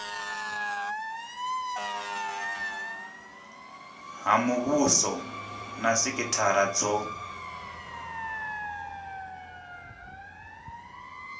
ha muvhuso na sikithara dzo